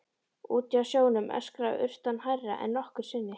Úti á sjónum öskraði urtan hærra en nokkru sinni.